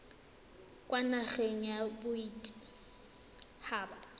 kwa nageng ya bodit haba